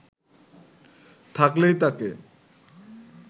থাকলেই তাকে